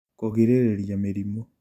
Kũgirĩrĩria mĩrimũ